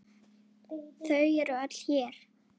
Þau eru öll hér.